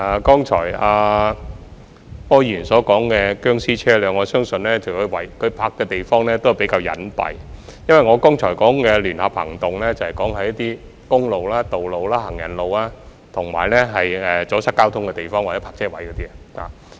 剛才柯議員所說的"殭屍車"，我相信停泊的地方比較隱蔽，而我剛才說的聯合行動是處理在公共道路、行人路，以及阻塞交通的地方或泊車位的棄置車輛。